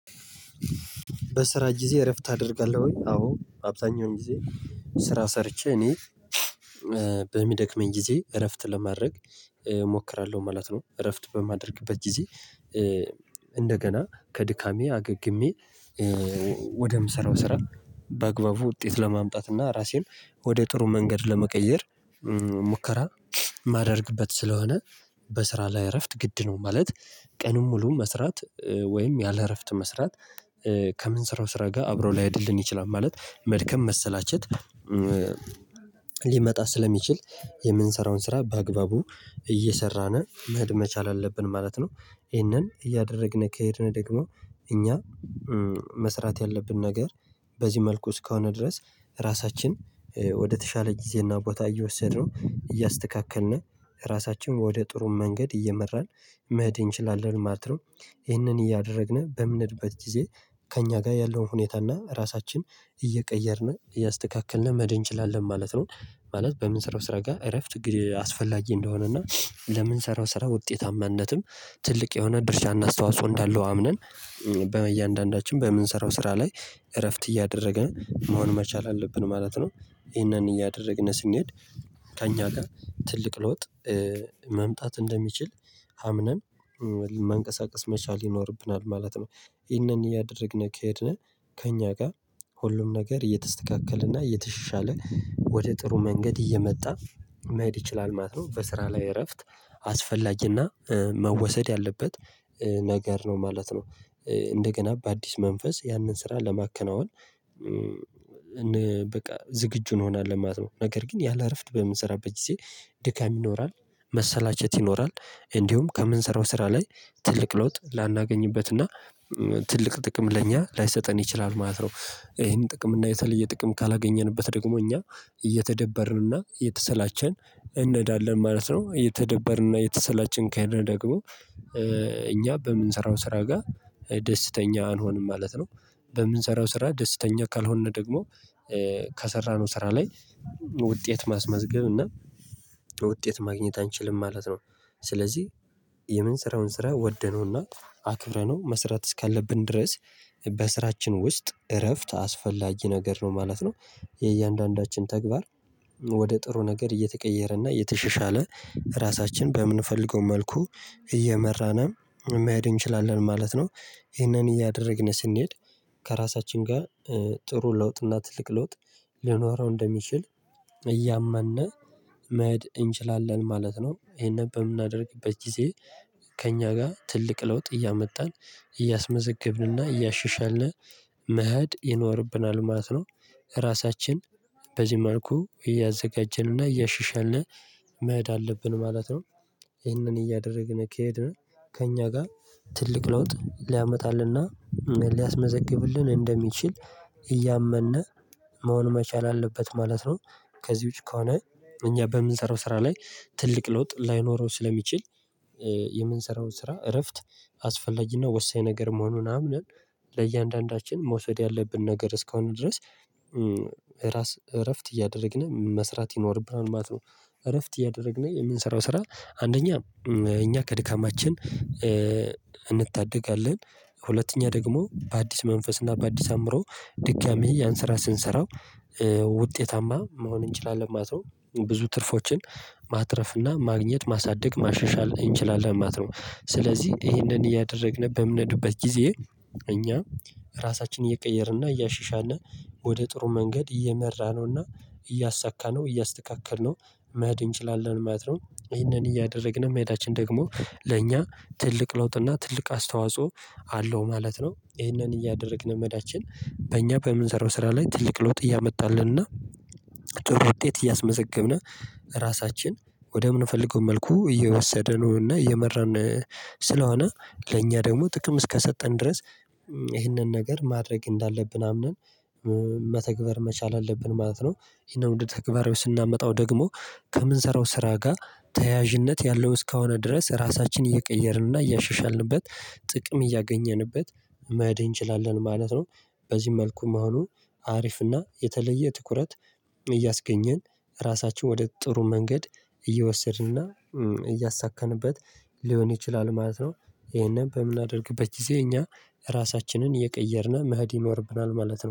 በስራ ጊዜ እረፍት አደርጋለሁኝ አዎ አብዛኛውን ጊዜ ስራ ሰርቼ እኔ በሚደክመኝ ጊዜ እረፍት ለማድረግ እሞክራለሁ ማለት ነው። እረፍት በማደርግበት ጊዜ እንደገና ከድካሜ አገግሜ ወደምሰራው ስራ በአግባቡ ውጤት ለማምጣት እና ራሴን ወደ ጥሩ መንገድ ለመቀየር ሙከራ ማደርግበት ስለሆነ። በስራ ላይ እረፍት ግድ ነው ማለት። ቀኑን ሙሉ መስራት ወይም ያለ እረፍት መስራት ስራው ስራ ጋር አብረው ላይሆድልን ይችላል። ማለት መድከም መሰላቸት ሊመጣ ስለሚችል የምንሰራውን ስራ በአግባቡ እየሰራን መሄድ መቻል አለብን ማለት ነው። እሂንን እያደረግን ከሄድን ደግሞ እኛ መስራት ያለብን ነገር በዚህ መልኩ እስከሆነ ድረስ ራሳችን ወደተሻለ ጊዜና ቦታ እየወሰድነው እያስተካከልነ ራሳችን ወደ ጥሩ መንገድ እየመራን መህድ እንችላለን ማለት ነው። ይህንን እያደረግን በምንህድበት ጊዜ ከእኛ ጋር ያለውን ሁኔታ እና ራሳችን እየቀየርን እያስተካከልን መህድ እንችላለን ማለት ነው። ማለት በምንስራው ስራ ጋር እረፍት አስፈላጊ እንደሆነ እና ለምንስራው ስራው ውጤታማነትም ትልቅ የሆነ ድርሻ አስተዋጽኦ እንዳለው አምነን በእያንዳንዳችን በምንሰራው ስራ ላይ እረፍት እያደረግነ መሆን መቻል አለብን ማለት ነው። ይሄንን እያደረግን ስንሄድ ከእኛ ጋር ትልቅ ለውጥ መምጣት እንደሚችል አምነን መንቀሳቀስ መቻል ይኖርብናል ማለት ነው። ይህንን እያደረግን ከሄድን ከእኛ ጋ ሁሉም ነገር እየተስተካከለና እየተሻሻለ ወደ ጥሩ መንገድ እየመጣ መህድ ይችላል ማለት ነው። በስራ ላይ እረፍት አስፈላጊ ና መወሰድ ያለበት ነገር ነው ማለት ነው። እንደገና በአዲስ መንፈስ ያንን ስራ ለማከናወን በቃ ዝግጁ እንሆናለን ማለት ነው። ነገር ግን ያለ እረፍት በምንሰራበት ጊዜ ድካም ይኖራል መሰላቸት ይኖራል እንዲሁም ከምንሰራው ስራ ላይ ትልቅ ለውጥ ላናገኝበትና ትልቅ ጥቅም ለእኛ ላይሰጠን ይችላል ማለት ነው። እሄን ጥቅም እና የተለየ ጥቅም ካላገኘንበት ደግሞ እኛ እየተደበርን እና እየተሰላቸን እንሄዳለን ማለት ነው። እየተደበርንና እየተሰላቸን ከሄድነ ደግሞ እኛ በምንሰራው ስራ ጋ ደስተኛ አንሆንም ማለት ነው። በምንሰራው ስራ ደስተኛ ካልሆነ ደግሞ ከሰራነው ስራ ላይ ውጤት ማስመዝገብ እና ውጤት ማግኘት አንችልም ማለት ነው። ስለዚህ የምን ስራውን ስራ ወደነውና አክብረነው መስራት እስካለብን ድረስ በስራችን ውስጥ እረፍት አስፈላጊ ነገር ነው ማለት ነው። የእያንዳንዳችን ተግባር ወደ ጥሩ ነገር እየተቀየረና እየተሸሻለ ራሳችን በምንፈልገው መልኩ እየመራን መሄድ እንችላለን ማለት ነው። ይሄንን እያደረግን ስንሄድ ከራሳችን ጋር ጥሩ ለውጥ እና ትልቅ ለውጥ ሊኖረው እንደሚችል እያመነ መሄድ እንችላለን ማለት ነው። እሄነን በምናደርግበት ጊዜ ከእኛ ጋ ትልቅ ለውጥ እያመጣን እያስመዘገብንና እያሸሻልን መህድ ይኖርብናል ማለት ነው። ራሳችን በዚህ መልኩ እያዘጋጀንና እያሻሻልነ መህድ አለብን ማለት ነው። ይህንን እያደረግን ከሄድን ከእኛ ጋር ትልቅ ለውጥ ሊያመጣልና ሊያስመዘግብልን እንደሚችል እያመነ መሆን መቻል አለበት ማለት ነው። ከዚህ ውጪ ከሆነ እኛ በምንሰራው ስራ ላይ ትልቅ ለውጥ ላይኖረው ስለሚችል የምንሰራው ስራ እረፍት አላስፈላጊና ወሳኝ ነገር መሆኑን አምነን ለእያንዳንዳችን መውሰድ ያለብን ነገር እስካሆነ ድረስ ራስ እረፍት እያደረግን መስራት ይኖርብናል ማለት ነው። እረፍት እያደረግን የምንሰራው ስራ አንደኛ እኛ ከድካማችን እንታደጋለን ሁለተኛ ደግሞ በአዲስ መንፈስ እና በአዲስ አምሮ ድጋሚ ያን ስራ ስንሰራው ውጤታማ መሆን እንችላለን ማለት ነው። ብዙ ትርፎችን ማትረፍና ማግኘት ማሳደግ ማሸሻል እንችላለን ማለት ነው። ስለዚህ እሄንን እያደረግን በምንድበት ጊዜ እኛ ራሳችንን እየቀየርንና እያሻሻልን ወደ ጥሩ መንገድ እየመራነውና እያሳካነው እያስተካከልነው መህድ እንችላለን ማለት ነው። እሂንን እያደረግን መሄዳችን ደግሞ ለእኛ ትልቅ ለውጥና ትልቅ አስተዋጽኦ አለው ማለት ነው። እሂንን እያደረግን መዳችን በእኛ በምንሰራው ስራ ላይ ትልቅ ለውጥ እያመጣልን እና ጥሩ ውጤት እያስመዘገብን ራሳችን ወደ ምን ፈልገው መልኩ እየወሰደ ነው እና እየመራን ስለሆነ ለእኛ ደግሞ ጥቅም እስከሰጠን ድረስ እሂንን ነገር ማድረግ እንዳለብን አምነን መተግበር መቻል አለብን ማለት ነው። እሂነን ወደ ተግባር ስናመጣው ደግሞ ከምንሰራው ስራ ጋር ተያያዥነት ያለው እስከሆነ ድረስ ራሳችንን እየቀየርንና እያሸሻልንበት ጥቅም እያገኘንበት መሄድ እንችላለን ማለት ነው። በዚህ መልኩ መሆኑን አሪፍና የተለየ ትኩረት እያስገኘን ራሳችን ወደ ጥሩ መንገድ እየወሰድንና እያሳካንበት ሊሆን ይችላል ማለት ነው። እሆነን በምናደርግበት ጊዜ እኛ ራሳችንን እየቀየርን መህድ ይኖርብናል ማለት ነው